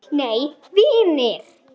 Nei vinir!